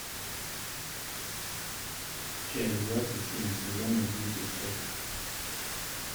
часть двадцать семь сезона десять секта